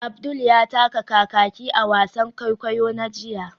Abdul ya taka kakaki a wasan kwaikwayo na jiya